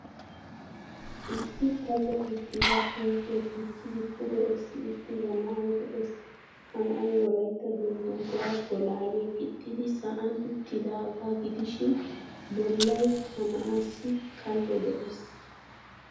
Issi kallo uttida huuphphiya dichchidi pude essi uttida na'ay de'ees. Ha na'ay wolaytta dungguzaa bolaaliya gixxidi sa'an uttidaagaa gidishin bollay ha naa'aassi kallo de'ees.